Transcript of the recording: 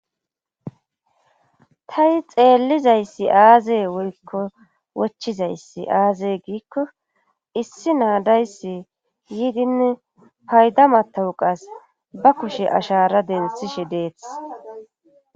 Tani xeellizayssi aaze woykko wochizayssi aaze giikko issi naa dayssi yiidin payda matawuqas ba kushe ashara denththshshe dees